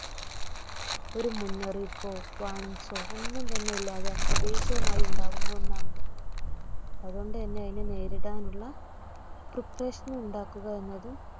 ഒരു മുന്നറിയിപ്പൊ Warning സോ ഒന്നും തന്നെ ഇല്ലാതെ അപ്രതീക്ഷിതമായി ഉണ്ടാവുന്ന ഒന്നാണിത്. അതുകൊണ്ടുതന്നെ അതിനെ നേരിടാനുള്ള Preparation സ്‌ ഉണ്ടാക്കുക എന്നതും